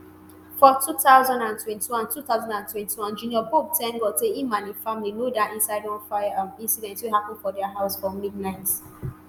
for 2021 2021 junior pope tank god say im and im family no die inside one fire um incident wey happun for dia house um for midnight.